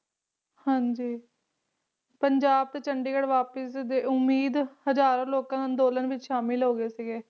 ਹਾਂ ਜੀ ਪੰਜਾਬ ਤੋਂ ਚੰਡੀਗੜ੍ਹ ਵਾਪਸੀ ਦੀ ਉੱਮੀਦ ਹਜ਼ਾਰਾਂ ਲੋਕੀ ਅੰਦੋਲਨ ਵਿੱਚ ਸ਼ਾਮਿਲ ਹੋ ਗਏ ਸੀ